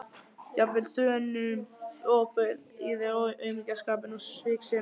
Jafnvel Dönum ofbauð í þér aumingjaskapurinn og sviksemin.